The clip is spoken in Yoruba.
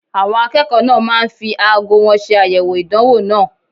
Àwọn akẹ́kọ̀ọ́ náà máa ń fi aago wọn ṣe àyẹ̀wò ìdánwò náà.